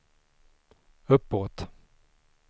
uppåt